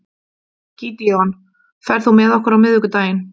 Gídeon, ferð þú með okkur á miðvikudaginn?